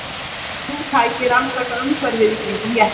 Þrjú tæki rannsaka umhverfið í kringum jeppann.